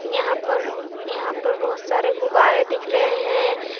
यहां पर यहां पर बहुत सारे गुब्बारे दिख रहे हैं।